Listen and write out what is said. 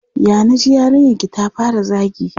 Ya na ji yarinyarki ta fara zagi?